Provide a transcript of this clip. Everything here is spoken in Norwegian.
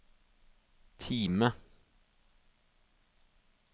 Time